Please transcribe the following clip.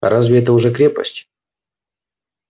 а разве это уже крепость